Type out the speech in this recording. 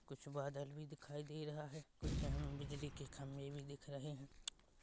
कुछ बादल भी दिखाई दे रहा है कुछ अ हम्म बिजली के खम्बे भी दिख रहे है ।